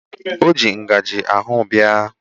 O ji ngajị ahụ bịa.